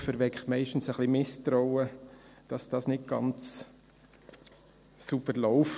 Ein Vorwurf erweckt meistens ein bisschen Misstrauen, dass es nicht ganz sauber läuft.